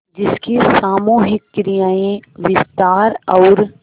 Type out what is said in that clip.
जिसकी सामूहिक क्रियाएँ विस्तार और